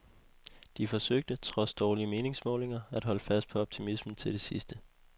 De forsøgte, trods dårlige meningsmålinger, at holde fast på optimismen til det sidste.